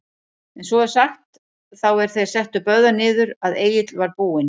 En svo er sagt, þá er þeir settu Böðvar niður, að Egill var búinn